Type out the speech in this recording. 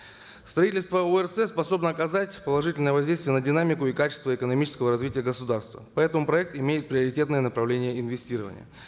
строительство орц способно оказать положительное воздействие на динамику и качество экономического развития государства поэтому проект имеет приоритетное направление инвестирования